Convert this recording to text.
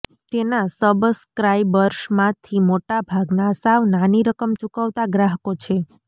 તેના સબસ્ક્રાઈબર્સમાંથી મોટા ભાગના સાવ નાની રકમ ચૂકવતા ગ્રાહકો છે